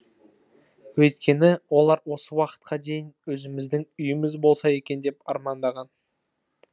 өйткені олар осы уақытқа дейін өзіміздің үйіміз болса екен деп армандаған